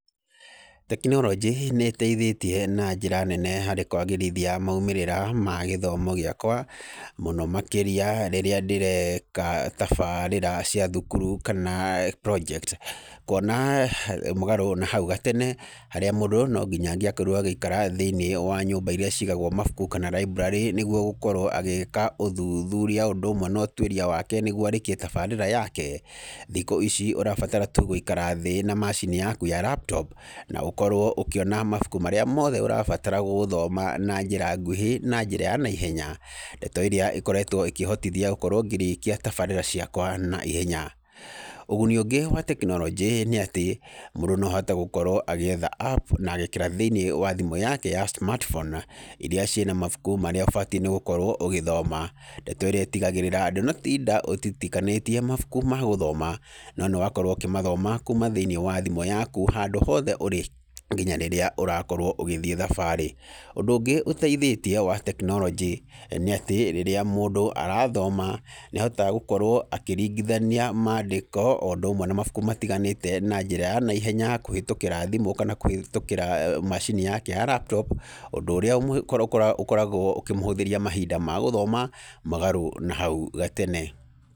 Tekinorojĩ nĩ ĩteithĩtie na njĩra nene harĩ kwagĩrithia maumĩrĩra ma gĩthomo gĩakwa, mũno makĩria rĩrĩa ndĩreka tabarĩra cia thukuru kana project , kuona mũgarũ na hau gatene harĩa mũndũ no nginya angĩakorirwo agĩikara thĩini wa nyũmba iria cigagwo mabuku kana library nĩgwo gũkorwo agĩĩka ũthuthuria ũndũ ũmwe na ũtwĩria nĩgwo arĩkie tabarĩra yake, thikũ ici ũrabatara tu gũikara thĩ na macini yaku ya laptop na ũkorwo ũkĩona mabuku marĩa mothe ũrabatara gũthoma na njĩra nguhĩ na njĩra ya na ihenya , ndeto ĩrĩa ĩkoretwo ĩkĩhotithia gũkorwo ngĩrĩkia tabarĩra ciakwa na ihenya, ũguni ũngĩ wa tekinorojĩ nĩ atĩ, mũndũ no ahote gũkorwo agĩetha app na agekĩra thĩiniĩ wa thimũ yake ya smartphone iria ciĩna mabuku marĩa ũbatiĩ nĩ gũkorwo ũgĩthoma, ndeto ĩrĩa itigagĩrĩra ndũnatinda utitikanĩtie mabuku ma gũthoma, no nĩ wakorwo ũkĩmathoma thĩiniĩ wa thimũ yaku handũ hothe ũrĩ, nginya rĩrĩa ũrakorwo ũgĩthiĩ thabarĩ ,ũndũ ũngĩ ũteithĩtie wa tekinorojĩ nĩ atĩ rĩrĩa mũndũ arathoma, nĩ ahotaga gũkorwo akĩringithania mandĩko o ũndũ ũmwe na mabuku matiganĩte na njĩra na ihenya , kũhĩtũkĩra thimũ kana kũhĩtũkĩra macini yake ya laptop ũndũ ũrĩa ũkoragwo ũkĩmũhũthĩria mahinda ma gũthoma mũgarũ na hau gatene.